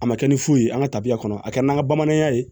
A ma kɛ ni fu ye an ka tabiya kɔnɔ a kɛ n'an ka bamananya ye